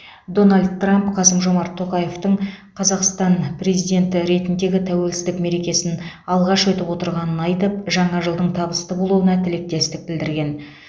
дональд трамп қасым жомарт тоқаевтың қазақстан президенті ретінде тәуелсіздік мерекесін алғаш атап өтіп отырғанын айтып жаңа жылдың табысты болуына тілектестік білдірген